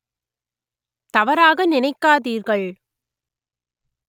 தவறாக நினைக்காதீர்கள்